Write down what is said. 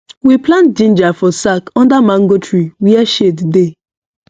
we plant ginger for sack under mango tree where shade dey